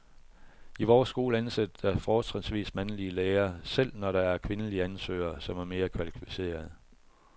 I vores skole ansættes der fortrinsvis mandlige lærere, selv når der er kvindelige ansøgere, som er mere kvalificerede.